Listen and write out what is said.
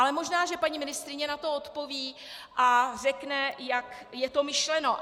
Ale možná že paní ministryně na to odpoví a řekne, jak je to myšleno.